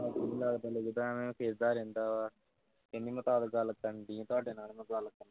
ਨਹੀਂ ਲੱਗਦਾ ਲੁਗ਼ਾਦਾ ਐਵੇਂ ਹੀ ਖਿਝਦਾ ਰਹਿੰਦਾ ਹੈ ਕਹਿੰਦੀ ਮੈਂ ਤਦ ਗੱਲ ਕਰਨ ਲਈ ਤੁਹਾਡੇ ਨਾਲ